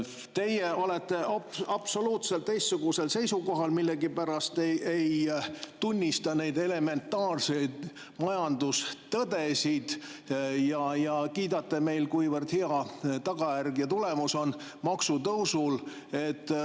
Teie olete absoluutselt teistsugusel seisukohal, millegipärast te ei tunnista neid elementaarseid majandustõdesid ja kiidate, kuivõrd hea tagajärg, tulemus on maksutõusul.